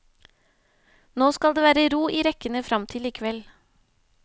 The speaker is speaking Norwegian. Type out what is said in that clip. Nå skal det være ro i rekkene frem til i kveld.